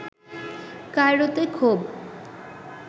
কায়রোতে ক্ষোভ